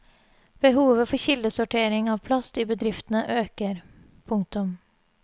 Behovet for kildesortering av plast i bedriftene øker. punktum